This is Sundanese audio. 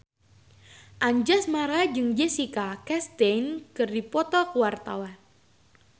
Anjasmara jeung Jessica Chastain keur dipoto ku wartawan